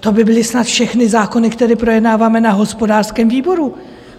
to by byly snad všechny zákony, které projednáváme na hospodářském výboru.